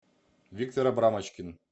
виктор абрамочкин